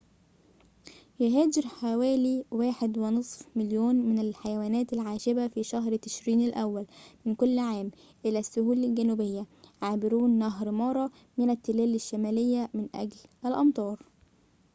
يهاجر حوالي 1.5 مليون من الحيوانات العاشبة في شهر تشرين الأول من كل عام إلى السهول الجنوبية عابرون نهر مارا من التلال الشمالية من أجل الأمطار